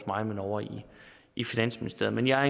mig men ovre i finansministeriet men jeg er